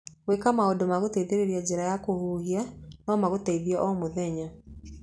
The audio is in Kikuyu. Gwĩka maũndũ ma gũteithĩrĩria njĩra ya kũhuhia no magũteithie omũthenya.